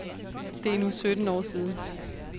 Det er nu sytten år siden.